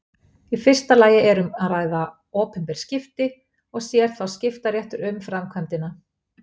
Í fyrsta lagi er um að ræða opinber skipti og sér þá skiptaréttur um framkvæmdina.